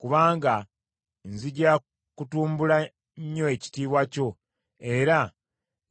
kubanga nzija kutumbula nnyo ekitiibwa kyo, era